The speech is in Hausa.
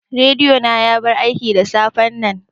Rediyo na ya bar aiki da safen nan